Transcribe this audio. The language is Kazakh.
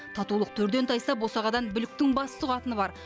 татулық төрден тайса босағадан бүліктің бас сұғатыны бар